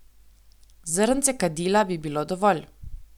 Zrnce kadila bi bilo dovolj.